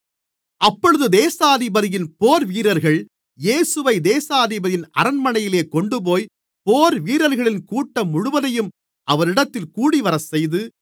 அப்பொழுது தேசாதிபதியின் போர்வீரர்கள் இயேசுவைத் தேசாதிபதியின் அரண்மனையிலே கொண்டுபோய் போர்வீரர்களின் கூட்டம் முழுவதையும் அவரிடத்தில் கூடிவரச்செய்து